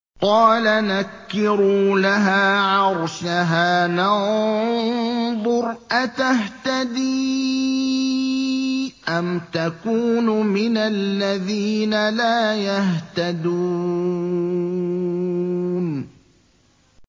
قَالَ نَكِّرُوا لَهَا عَرْشَهَا نَنظُرْ أَتَهْتَدِي أَمْ تَكُونُ مِنَ الَّذِينَ لَا يَهْتَدُونَ